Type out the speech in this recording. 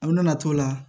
A nana t'o la